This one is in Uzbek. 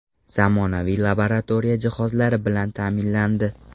Zamonaviy laboratoriya jihozlari bilan ta’minlandi.